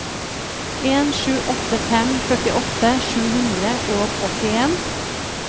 en sju åtte fem førtiåtte sju hundre og åttien